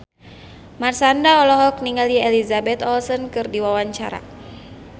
Marshanda olohok ningali Elizabeth Olsen keur diwawancara